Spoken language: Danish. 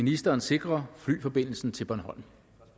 ministeren sikre flyforbindelsen til bornholm